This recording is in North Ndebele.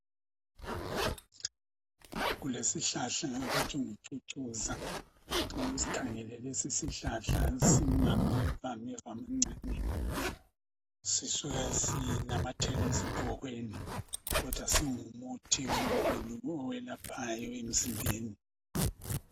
kulesihlahla abahi ngucucuza nxa usikhangele lesi sihlahla singameva meva amancane sisuka sinamathele ezigqokeni kodwa singumuthi omkhulu oyelaphayo emzimbeni